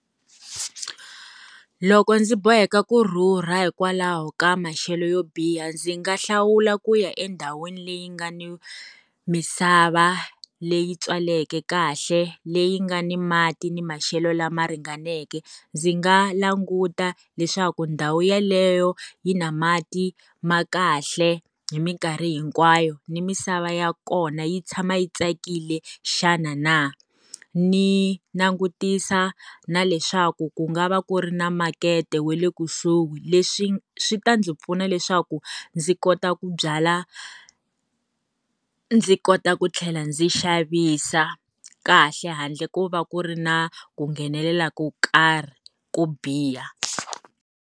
Loko ndzi boheka kurhurha hikwalaho ka maxelo yo biha ndzi nga hlawula ku ya endhawini leyi nga ni misava leyi tswaleke kahle, leyi nga ni mati ni maxelo lama ringaneke. Ndzi nga languta leswaku ndhawu yeleyo yi na mati ma kahle, hi minkarhi hinkwayo. Ni misava ya kona yi tshama yi tsakile xana na? Ni langutisa na leswaku ku nga va ku ri na makete wa le kusuhi. Leswi swi ta ndzi pfuna leswaku ndzi kota ku byala. Ndzi kota ku tlhela ndzi xavisa kahle handle ku va ku ri na ku nghenelela ka swo karhi, ko biha.